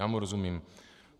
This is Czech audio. Já mu rozumím.